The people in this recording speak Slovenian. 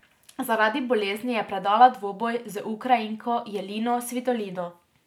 Zaradi bolezni je predala dvoboj z Ukrajinko Jelino Svitolino.